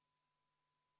V a h e a e g